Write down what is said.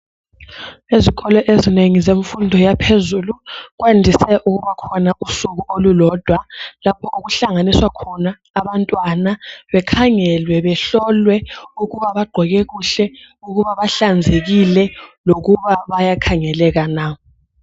Ezikolo ezinengi zemfundo yaphezulu kwandise ukuba khona usuku olulodwa lapho okuhlanganiswa khona abantwana bakhangelwe, behlolwe ukuba bagqoke kuhle, ukuba bahlanzekile lokuba bayakhangeleka na.